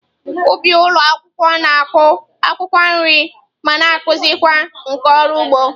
Ụbị ụlọ akwụkwọ na-akụ akwụkwọ nri ma na-akụzikwa nkà ọrụ ugbo.